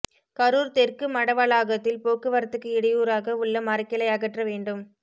கரூர் தெற்கு மடவளாகத்தில் போக்குவரத்துக்கு இடையூறாக உள்ள மரக்கிளை அகற்ற வேண்டும்